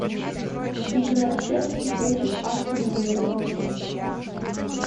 игра челси против астон вилла